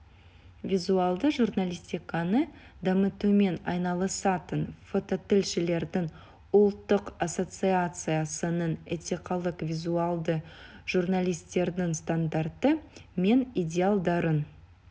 визуалды журналистиканы дамытумен айналысатын фототілшілердің ұлттық ассоциациясының этикалық визуалды журналистердің стандарттары мен идеалдарын